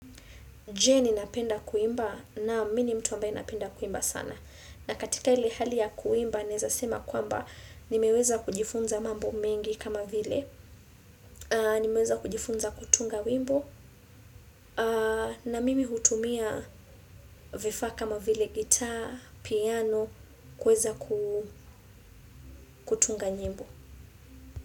Je ni napenda kuimba naam mini mtu ambaye napenda kuimba sana. Na katika ile hali ya kuimba, naeza sema kwamba ni meweza kujifunza mambo mengi kama vile. Ni meweza kujifunza kutunga wimbo. Na mimi hutumia vifaa kama vile gitaa, piano, kuweza kutunga nyimbo.